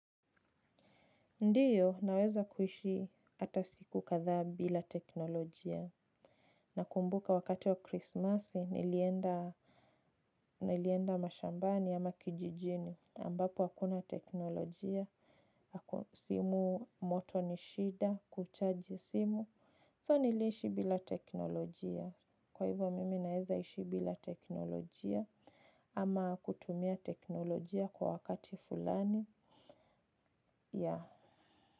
Ndiyo, naweza kuishi hatasiku kathaa bila teknolojia. Na kumbuka wakati wa Christmas, nilienda mashambani ama kijijini. Ambapo, hakuna teknolojia. Simu moto nishida, kuchaji simu. So niliishi bila teknolojia. Kwa hivyo, mimi naweza ishi bila teknolojia ama kutumia teknolojia kwa wakati fulani ya.